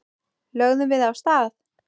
Lögðum við af stað.